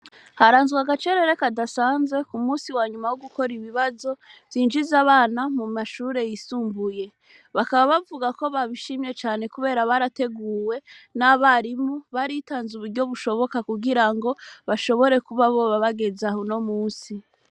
Haranzwe agacerere kadasanze ku musi wanyuma wo gukora ibibazo vyinjize abana mu mashure yisumbuye bakaba bavuga ko babishimye cane, kubera barateguwe n'abarimu baritanze uburyo bushoboka kugira ngo bashobore kuba boba bageze aho no musi.